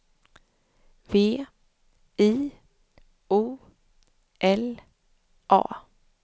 V I O L A